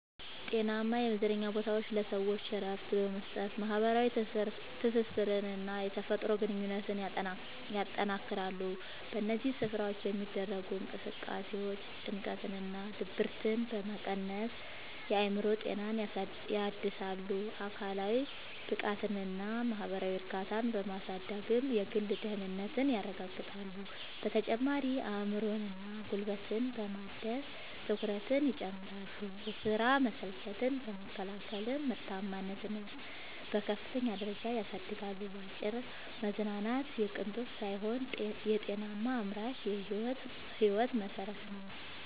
ጤናማ የመዝናኛ ቦታዎች ለሰዎች እረፍት በመስጠት፣ ማኅበራዊ ትስስርንና የተፈጥሮ ግንኙነትን ያጠናክራሉ። በእነዚህ ስፍራዎች የሚደረጉ እንቅስቃሴዎች ጭንቀትንና ድብርትን በመቀነስ የአእምሮ ጤናን ያድሳሉ፤ አካላዊ ብቃትንና ማኅበራዊ እርካታን በማሳደግም የግል ደህንነትን ያረጋግጣሉ። በተጨማሪም አእምሮንና ጉልበትን በማደስ ትኩረትን ይጨምራሉ፤ የሥራ መሰልቸትን በመከላከልም ምርታማነትን በከፍተኛ ደረጃ ያሳድጋሉ። ባጭሩ መዝናናት የቅንጦት ሳይሆን የጤናማና አምራች ሕይወት መሠረት ነው።